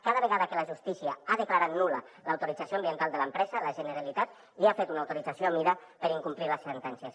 cada vegada que la justícia ha declarat nul·la l’autorització ambiental de l’empresa la generalitat li ha fet una autorització a mida per incomplir les sentències